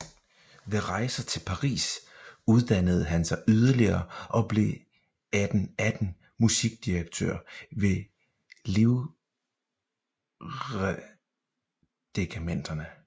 Ved rejser til Paris uddannede han sig yderligere og blev 1818 musikdirektør ved livgrenaderregimenterne